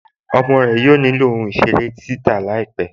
Ọmọ rẹ yóò ní ilọ̀ ohun-iṣèrè títà láípẹ̀.